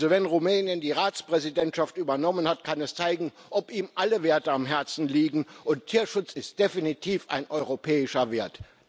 Also, wenn Rumänien die Ratspräsidentschaft übernommen hat, kann es zeigen, ob ihm alle Werte am Herzen liegen und Tierschutz ist definitiv ein europäischer Wert.